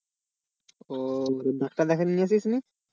ও doctor দেখাতে নিয়ে আসিনি?